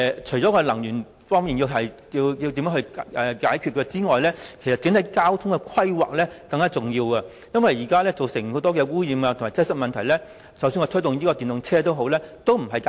除了解決能源方面的問題外，整體的交通規劃更加重要。這是因為現時很多的污染及擠塞問題，即使推出電動車也未能解決。